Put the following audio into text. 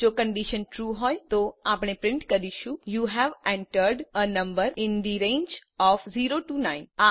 જો condition true હોય તો આપણે પ્રિન્ટ કરીશું યુ હવે entered a number in the range of 0 9